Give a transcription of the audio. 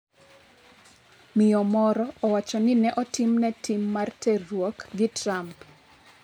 Miyo moro owacho ni ne otimne tim mar terruok gi Trump